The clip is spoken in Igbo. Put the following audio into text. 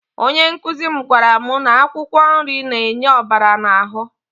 Onye nkụzi m gwara m na akwụkwọ nri na-enye ọbara n'ahụ.